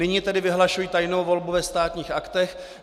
Nyní tedy vyhlašuji tajnou volbu ve Státních aktech.